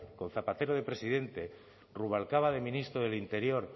con zapatero de presidente rubalcaba de ministro del interior